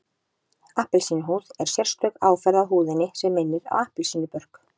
Appelsínuhúð er sérstök áferð á húðinni sem minnir á appelsínubörk